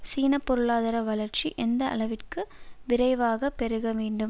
சீன பொருளாதார வளர்ச்சி எந்த அளவிற்கு விரைவாகப் பெருக வேண்டும்